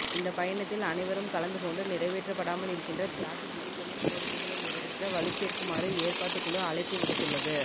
இந்த பயணத்தில் அனைவரும் கலந்துகொண்டு நிறைவேற்றப்படாமல் இருக்கின்ற தியாகி திலீபனின் கோரிக்கைகளை நிறைவேற்ற வலுச்சேர்க்குமாறு ஏற்பாட்டுக் குழு அழைப்பு விடுத்துள்ளது